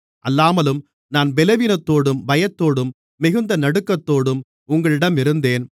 அல்லாமலும் நான் பலவீனத்தோடும் பயத்தோடும் மிகுந்த நடுக்கத்தோடும் உங்களிடம் இருந்தேன்